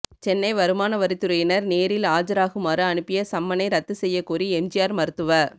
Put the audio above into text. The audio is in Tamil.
சென்னை வருமான வரித்துறையினர் நேரில் ஆஜராகுமாறு அனுப்பிய சம்மனை ரத்து செய்யக்கோரி எம்ஜிஆர் மருத்துவ